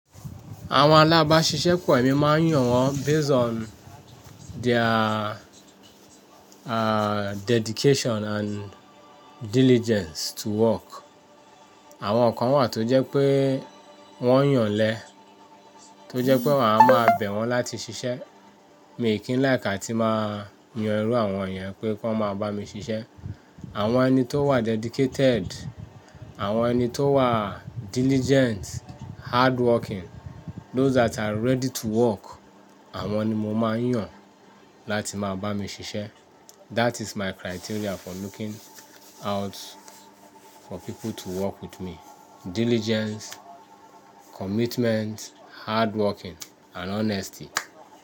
Àwọn alábasiṣẹ pọ̀, èmi máa ń yàn wọn based on their, uh, dedication and diligence to work. Àwọn kan wà tó jẹ́ pé wọ́n yàn lé, tó jẹ́ pé wàá máa bẹ̀ wọ́n láti ṣiṣẹ́. Mi ò kí ń like a tí máa yan irú àwọn yen pé kí wọ́n máa bá mi ṣiṣẹ́. Àwọn ẹni tó wà dedicated, àwọn ẹni tó wà diligent, hardworking, those that are ready to work, àwọn ni mo máa ń yàn láti máa bá mi ṣiṣẹ́. That is my criteria for looking out for people to work with me. Diligence, commitment, hardworking and honesty.